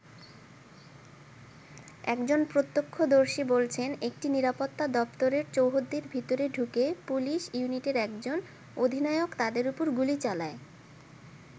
একজন প্রত্যক্ষদর্শী বলছেন একটি নিরাপত্তা দপ্তরের চৌহদ্দির ভেতরে ঢুকে পুলিশ ইউনিটের একজন অধিনায়ক তাদের ওপর গুলি চালায়।